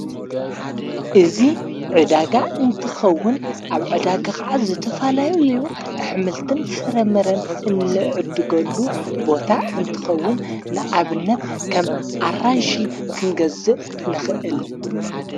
እዙ ዕዳጋ እንትኸውን ኣብ ዕዳጋ ኸዓት ዘተፋላዩ ልዩ ኣኅምልትን ፍረምረን እንዕድገሉ ቦታ እንትኸውን ንኣብነት ከም ኣራንሽ ክንገዝእ ንኽእል።